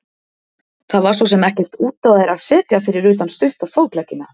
Það var svo sem ekkert út á þær að setja fyrir utan stutta fótleggina.